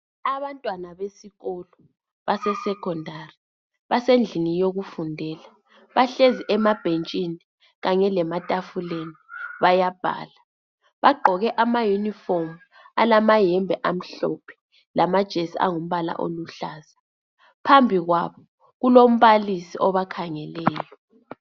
Abantwana besikolo base Secondary basendlini yokufundela bahlezi emabhentshini Kanye lematafuleni bayabhala bagqoke ama uniform alamayembe amhlophe lamajesi angumbala oluhlaza phambi kwabo kulombalisi obakhangeleyo